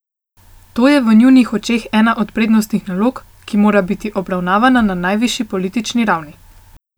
To je v njunih očeh ena od prednostnih nalog, ki mora biti obravnavana na najvišji politični ravni.